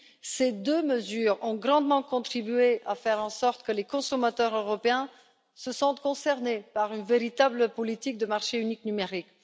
Ces deux mesures ont grandement contribué à faire en sorte que les consommateurs européens se sentent concernés par une véritable politique de marché unique numérique.